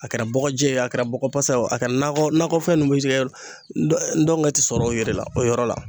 A kɛra bɔgɔjɛ ye o a kɛra bɔgɔ pasa ye o a kɛra nakɔ nakɔfɛn nunnu be ci kɛ ndɔn ndɔngɛ ti sɔrɔ o yɛrɛ la o yɔrɔ la